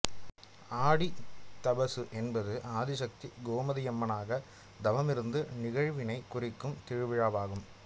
ஆடி தபசு என்பது ஆதிசக்தி கோமதியம்மனாக தவமிருந்த நிகழ்வினைக் குறிக்கும் திருவிழாவாகும்